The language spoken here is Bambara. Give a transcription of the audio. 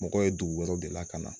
Mɔgɔ ye dugu wɛrɛw de la ka na